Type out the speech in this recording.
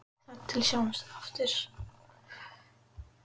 Þar til við sjáumst aftur.